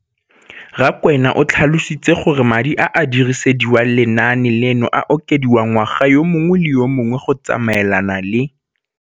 Rakwena o tlhalositse gore madi a a dirisediwang lenaane leno a okediwa ngwaga yo mongwe le yo mongwe go tsamaelana le.